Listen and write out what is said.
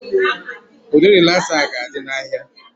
Ụdị rịlasa a ga-adị n'ahịa